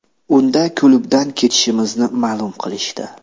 Unda klubdan ketishimizni ma’lum qilishdi.